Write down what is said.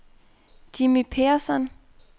Jimmy Persson